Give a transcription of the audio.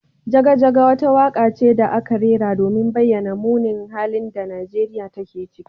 Jaga jaga wata waka ce da aka rera domin bayyana munin halin da Nigeriya take ciki.